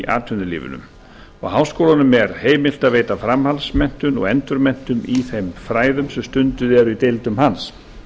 atvinnulífinu háskólanum er heimilt að veita framhaldsmenntun og endurmenntun í þeim fræðum sem stundum eru í deildum hans